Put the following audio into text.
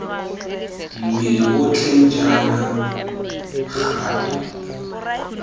mmele otlhe jaana ga twe